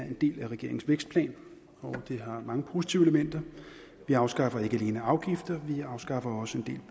en del af regeringens vækstplan og det har mange positive elementer vi afskaffer ikke alene afgifter vi afskaffer også en